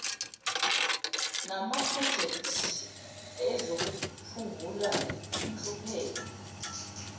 namaprojekthi ezokuphungula inhlupheko